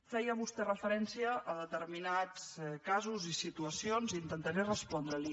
feia vostè referència a determinats casos i situacions intentaré respondre·li